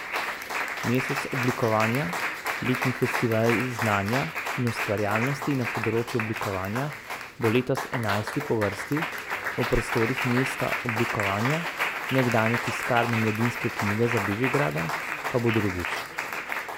Mesec oblikovanja, letni festival znanja in ustvarjalnosti na področju oblikovanja, bo letos enajsti po vrsti, v prostorih Mesta oblikovanja, nekdanje tiskarne Mladinske knjige za Bežigradom, pa bo drugič.